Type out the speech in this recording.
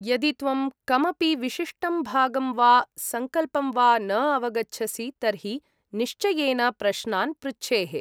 यदि त्वं कमपि विशिष्टं भागं वा सङ्कल्पं वा न अवगछसि तर्हि निश्चयेन प्रश्नान् पृच्छेः।